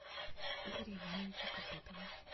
игоря ивановича копытова